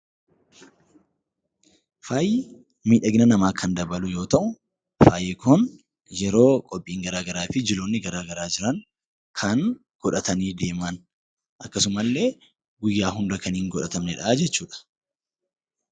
Faayi miidhagina namaa kan dabalu yoo ta'u, faayi kun yeroo qophiin garaa garaa fi jiloonni garaa garaa jiran kan godhatanii deeman akkasuma illee guyyaa hunda kan hin godhatamnedha jechuudha.